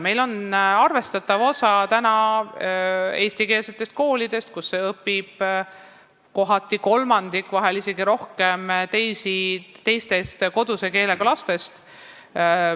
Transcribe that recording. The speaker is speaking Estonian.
Meil on täna arvestatav osa eestikeelseid koole, kus õpib kohati kolmandik, vahel isegi rohkem teise koduse keelega lastest.